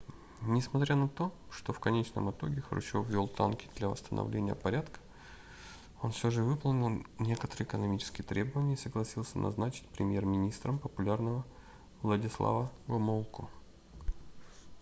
несмотря на то что в конечном итоге хрущев ввел танки для восстановления порядка он все же выполнил некоторые экономические требования и согласился назначить премьер-министром популярного владислава гомулку